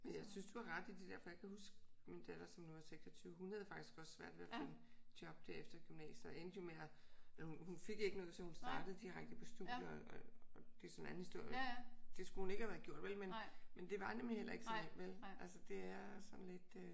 Men jeg synes at du har ret i det der for jeg kan huske min datter som nu er 26 hun havde faktisk også svært ved at finde job der efter gymnasiet. Og endte jo med at hun fik ikke noget så hun endte med at starte direkte på studiet. Det er så en anden historie. Det skulle hun ikke have været gjort vel? Men men det var nemlig heller ikke så nemt vel? Altså det er sådan lidt øh